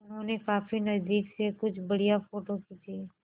उन्होंने काफी नज़दीक से कुछ बढ़िया फ़ोटो खींचे